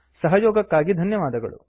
ಸಹಯೊಗಕ್ಕಾಗಿ ಧನ್ಯವಾದಗಳು